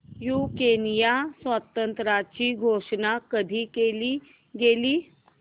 युक्रेनच्या स्वातंत्र्याची घोषणा कधी केली गेली